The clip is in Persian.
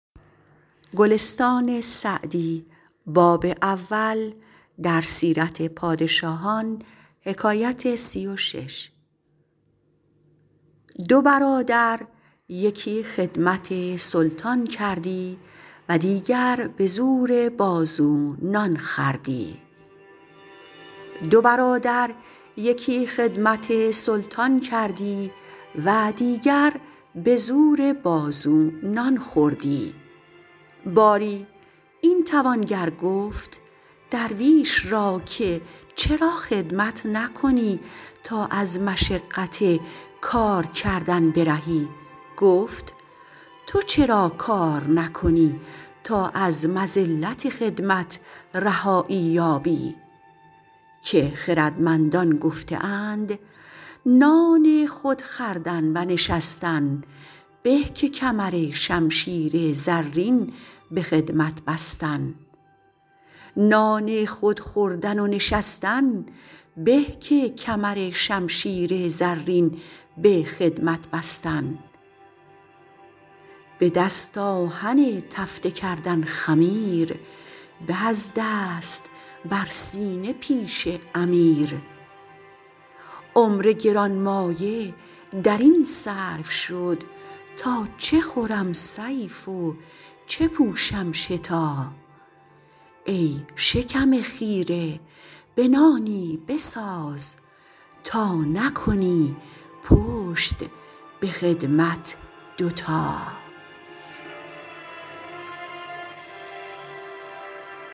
دو برادر یکی خدمت سلطان کردی و دیگر به زور بازو نان خوردی باری این توانگر گفت درویش را که چرا خدمت نکنی تا از مشقت کار کردن برهی گفت تو چرا کار نکنی تا از مذلت خدمت رهایی یابی که خردمندان گفته اند نان خود خوردن و نشستن به که کمرشمشیر زرین به خدمت بستن به دست آهک تفته کردن خمیر به از دست بر سینه پیش امیر عمر گرانمایه در این صرف شد تا چه خورم صیف و چه پوشم شتا ای شکم خیره به تایی بساز تا نکنی پشت به خدمت دو تا